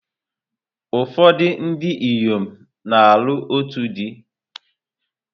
Ụfọdụ ndị inyom na-alụ otu di.